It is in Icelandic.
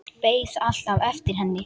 Beið alltaf eftir henni.